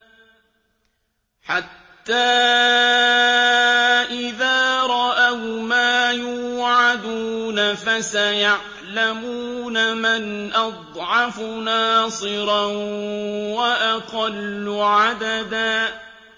حَتَّىٰ إِذَا رَأَوْا مَا يُوعَدُونَ فَسَيَعْلَمُونَ مَنْ أَضْعَفُ نَاصِرًا وَأَقَلُّ عَدَدًا